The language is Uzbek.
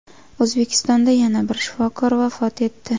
O‘zbekistonda yana bir shifokor vafot etdi.